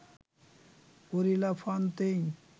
Henri La Fontaine